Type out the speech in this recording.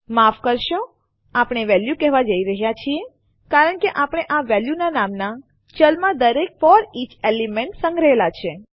માફ કરશો આપણે વેલ્યુ કેહવા જઈ રહ્યા છીએ કારણ કે આપણે આ વેલ્યુ નામના ચલમાં દરેક ફોરીચ એલિમેન્ટ સંગ્રહેલા છે